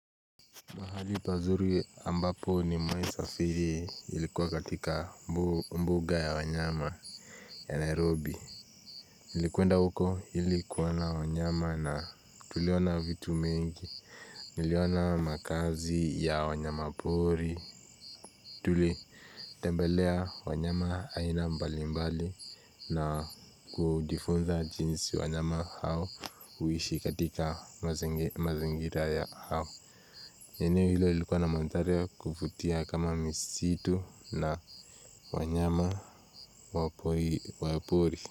Mahali pazuri ambapo nimewahi safiri ilikuwa katika mbuga ya wanyama ya Nairobi nilikwenda huko ilikwenda wa nyama tuliona vitu vingi. Niliona makazi ya wanyama pori. Tule tembelea wanyama aina mbalimbali na kulijifunza jinsi wanyama hao uishi katika mazingira ya hao eneo hilo ilikuwa na mandhari ya kuvutia kama misitu na wanyama wapori.